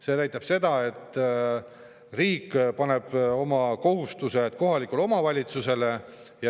See näitab seda, et riik paneb oma kohustused kohalikule omavalitsusele.